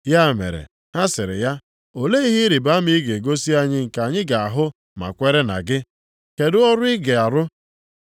Ya mere ha sịrị ya, “Olee ihe ịrịbama ị ga-egosi anyị nke anyị ga-ahụ ma kwere na gị? Kedụ ọrụ ị ga-arụ?